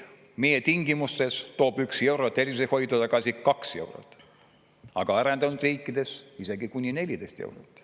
Meie tingimustes toob 1 euro tervishoidu tagasi 2 eurot, aga arenenud riikides isegi kuni 14 eurot.